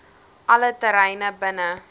alle terreine binne